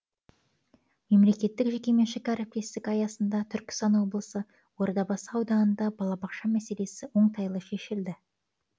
мемлекеттік жекеменшік әріптестік аясында түркістан облысы ордабасы ауданында балабақша мәселесі оңтайлы шешілді